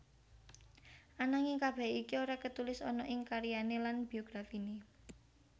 Ananging kabeh iki ora ketulis ana ing karyane lan biografine